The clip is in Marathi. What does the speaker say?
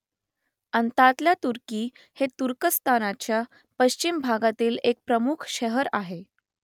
अंतातल्या तुर्की हे तुर्कस्तानच्या पश्चिम भागातील एक प्रमुख शहर आहे